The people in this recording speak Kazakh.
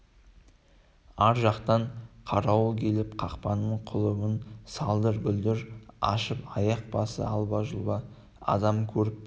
ар жақтан қарауыл келіп қақпаның құлыбын салдыр-гүлдір ашып аяқ басы алба-жұлба адамды көріп